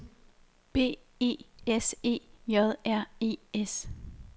B E S E J R E S